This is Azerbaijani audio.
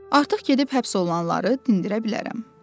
Artıq gedib həbs olunanları dindirə bilərəm.